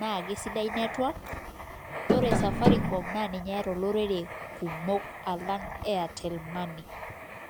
na kesidai network naa ninye eyata iltunganak kumok alaang [airtel money